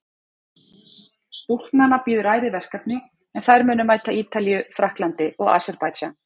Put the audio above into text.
Stúlknanna bíður ærið verkefni en þær munu mæta Ítalíu, Frakklandi og Aserbaídsjan.